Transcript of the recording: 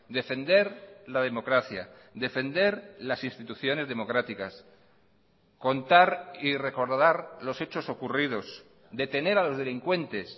defender la democracia defender las instituciones democráticas contar y recordar los hechos ocurridos detener a los delincuentes